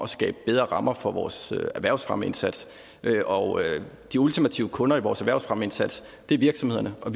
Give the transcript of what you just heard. skabe bedre rammer for vores erhvervsfremmeindsats og de ultimative kunder i vores erhvervsfremmeindsats er virksomhederne og